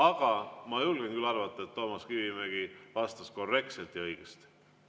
Aga ma julgen küll arvata, et Toomas Kivimägi vastas korrektselt ja õigesti.